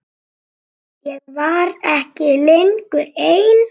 Ég var ekki lengur ein.